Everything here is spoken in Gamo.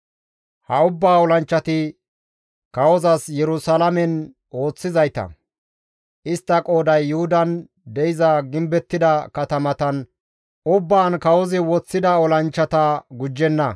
Ha ubbaa olanchchati kawozas Yerusalaamen ooththizayta; istta qooday Yuhudan de7iza gimbettida katamatan ubbaan kawozi woththida olanchchata gujjenna.